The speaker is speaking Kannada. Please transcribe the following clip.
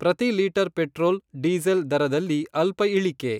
ಪ್ರತಿ ಲೀಟರ್ ಪೆಟ್ರೋಲ್, ಡೀಸೆಲ್ ದರದಲ್ಲಿ ಅಲ್ಪ ಇಳಿಕೆ.